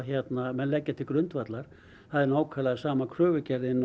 menn leggja til grundvallar það er nákvæmlega sama kröfugerðin